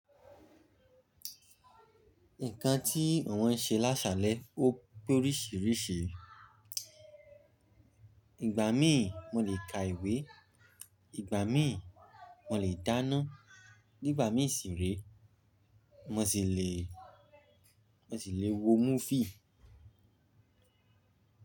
Nǹkan tí àwọn n ṣe lásalẹ̀ ó pé oríṣiríṣi. Igba mí mo le ka ìwé, ìgbà mí mo le dáná, nígbà mí sì rí mo sì le, mo sì le wo múfì.